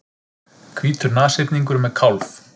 Hvítur nashyrningur með kálf.